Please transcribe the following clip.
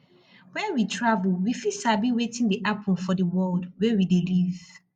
when we travel we fit sabi wetin dey happen for di world wey we dey live